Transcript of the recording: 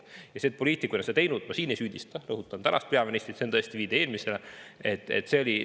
Selles, et poliitikud on sellist teinud, ma ei süüdista – rõhutan – tänast peaministrit, see on viide eelmisele.